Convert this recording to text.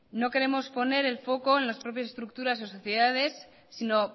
no queremos poner el foco en las propias estructuras o sociedades sino